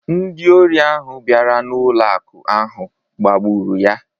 Ndị ori ahụ bịara n’ụlọ akụ̀ ahụ gbagburu ya